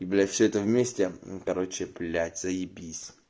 и блять все это вместе короче блять заебись